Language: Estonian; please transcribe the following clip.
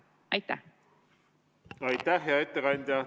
Aitäh, hea ettekandja!